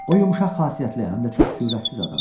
O yumşaq xasiyyətli həm də çox cürətsiz adam idi.